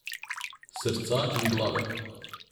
Srca in glave.